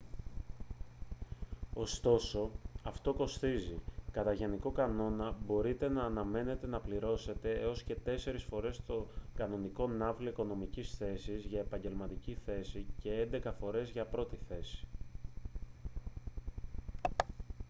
ωστόσο αυτό κοστίζει κατά γενικό κανόνα μπορείτε να αναμένετε να πληρώσετε έως και τέσσερεις φορές τον κανονικό ναύλο οικονομικής θέσης για επαγγελματική θέση και έντεκα φορές για πρώτη θέση